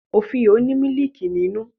Ofio ni mílìkí ninu.